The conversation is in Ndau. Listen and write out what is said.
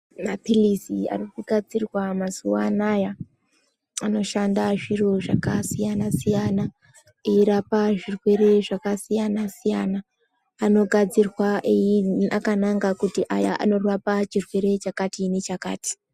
Mapilizi ari kugadzirwa mazuwa anaya anoshanda zviro zvakasiyana siyana eirapa zvirwere zvakasiyana siyana anogadzirwa ei akananga kuti aya anorapa chirwerw chakati nechakati.